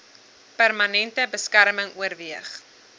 permanente beskerming oorweeg